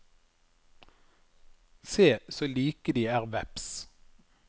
Se så like de er veps.